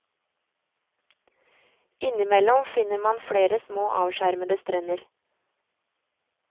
Innimellom finner man flere små avskjermede strender.